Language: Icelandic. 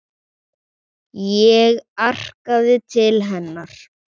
Ég arkaði til hennar.